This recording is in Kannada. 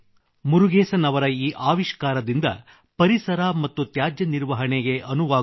ಮುರುಗೇಸನ್ ಅವರ ಈ ಆವಿಷ್ಕಾರದಿಂದ ಪರಿಸರ ಮತ್ತು ತ್ಯಾಜ್ಯಕ್ಕೂ ಪರಿಹಾರ ಸಿಗುತ್ತದೆ